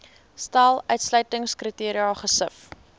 stel uitsluitingskriteria gesif